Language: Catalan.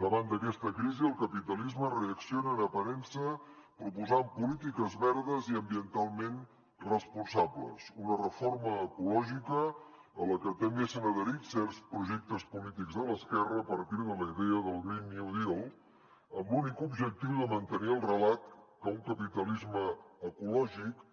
davant d’aquesta crisi el capitalisme reacciona en aparença proposant polítiques verdes i ambientalment responsables una reforma ecològica a la que també s’han adherit certs projectes polítics de l’esquerra a partir de la idea del green new deal amb l’únic objectiu de mantenir el relat que un capitalisme ecològic